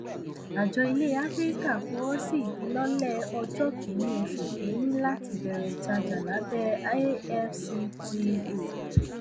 àjọ ilẹ áfíríkà fọwọ sí ìfilọlẹ ọjọ ọjọ kìíní oṣù kìíní láti bẹrẹ ìtajà lábẹ afcfta